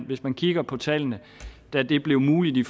hvis man kigger på tallene og da det blev muligt i